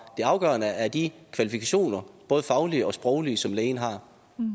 det afgørende er de kvalifikationer både faglige og sproglige som lægen har